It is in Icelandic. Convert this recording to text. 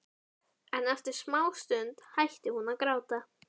En eftir smástund hætti hún að gráta.